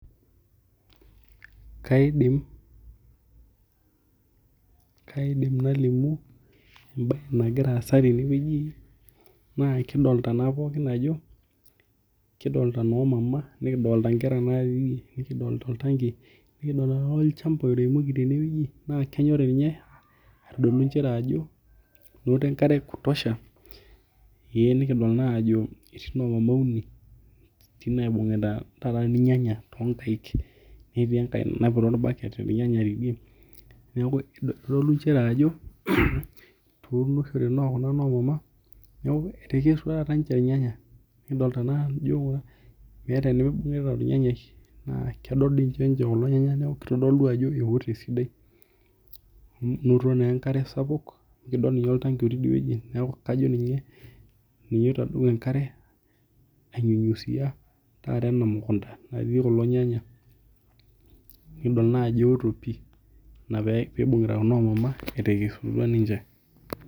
Kaidim kaidim nalimu enae nagira asa teneweji ajo kidolita nkera kidolita noo mama naati nikidolita oltanki nikidolita olchamba oremo teneweji naa kenyorii ninye atodolu nchere ajo keeta enkare ee kutosha ee nikidol naa ajo etii noo mama uni naibungita taa irnyanya too nkaik neetii enkae naiputa orbaket irnyanya tidie niaku kitodolu nchere ajo etunishore kuna noo mama neeku etekesutua taa ninche irnyanya nikidolita naa ajo meeta enemibung'ita ornyanyai naa kedoo ninche kulo nyanya neeku kitodolu ajo eoto esidai enotito naa enkare sidia kidol ninye oltanki looti idieweji naaku kajo ninye oitadou enkare ai nyunyzia taata ena mukunta naati kulo nyanya. Nikidol naa ajo eoto pii ina pee ibingita kuna noo maama etekesutua ninche.